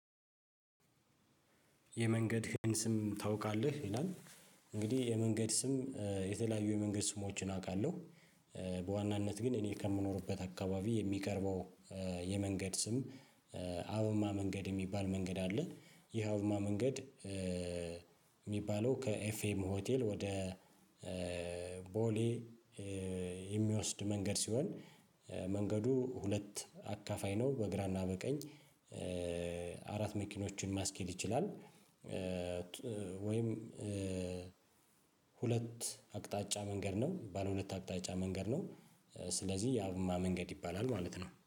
የመንገድህን ስም ታውቃለህ ይላል? እንግዲህ የመንገድ ስም የተለያዩ የመንገድ ስሞችን አውቃለሁ። በዋናነት ግን እኔ ከምኖርበት አካባቢ የሚቀርበው የመንገድ ስም። አብማ መንገድ የሚባል መንገድ አለ። ይሄ አብማ መንገድ። የሚባለው ከኤፍኤም ሆቴል ወደ ቦሌ የሚወስድ መንገድ ሲሆን። መንገዱ ሁለት አካፋይ ነው በግራና በቀኝ። አራት መኪኖችን ማስኬድ ይችላል ት ወይም ሁለት አቅጣጫ መንገድ ነው ባለሁለት አቅጣጫ መንገድ ነው። ስለዚህ የአብማ መንገድ ይባላል ማለት ነው